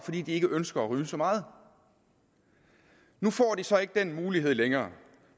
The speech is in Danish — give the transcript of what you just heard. fordi de ikke ønsker at ryge så meget nu får de så ikke den mulighed længere